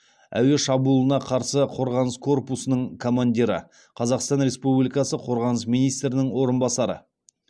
әуе шабуылына қарсы қорғаныс корпусының командирі қазақстан республикасы қорғаныс министрінің орынбасары